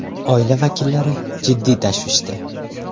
Oila vakillari jiddiy tashvishda.